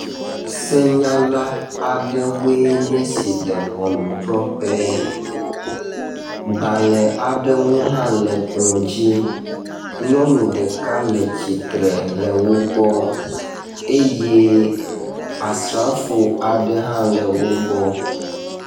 Senyala aɖewoe nye esi le ʋɔnudrɔƒe gbale aɖewo hã le kplɔ dzi nyɔnu ɖeka le tsitre le wógbɔ eye asrãfo aɖe hã le wógbɔ